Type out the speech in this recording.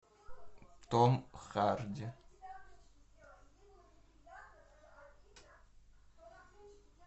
том харди